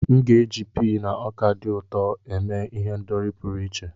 M ga-eji pii na ọka dị ụtọ eme ihendori pụrụ iche.